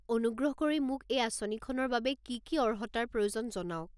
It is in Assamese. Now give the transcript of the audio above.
অনুগ্ৰহ কৰি মোক এই আঁচনিখনৰ বাবে কি কি অৰ্হতাৰ প্ৰয়োজন জনাওক।